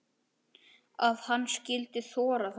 Að hann skyldi þora þetta!